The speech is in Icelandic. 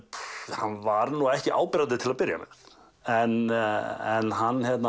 hann var nú ekki áberandi til að byrja með en